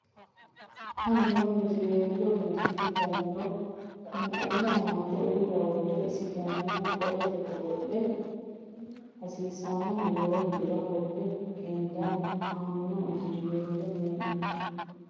Aaneno injoweello hee ne ganniro qunquma amande uulla worre isi ganihu Qolleete godo lera hasiisannohu yoo widira qolle qeendanni Aaneno injoweello hee ne.